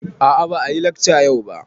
A a ba a yi lekca yau ba.